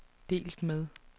delt med